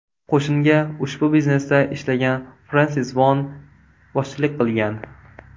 Qo‘shinga ushbu biznesda ishlagan Frensis One boshchilik qilgan.